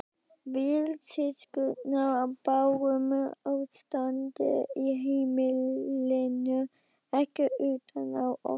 Við systurnar bárum ástandið á heimilinu ekki utan á okkur.